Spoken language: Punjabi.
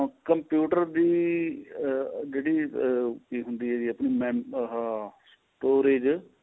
computer ਦੀ ਆਹ ਜਿਹੜੀ ਕਿ ਹੁੰਦੀ ਏ ਜੀ ਆਪਣੀ ਆਹ storage